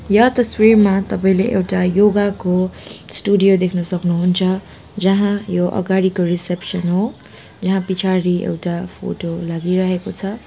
यो तस्बिरमा तपाईँले एउटा योगा को स्टुडियो देख्नु सक्नुहुन्छ जहाँ यो अगाडिको रिसेप्सन हो यहाँ पछाडि एउटा फोटो लागिरहेको छ।